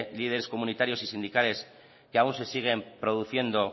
líderes comunitarios y sindicales que aún se siguen produciendo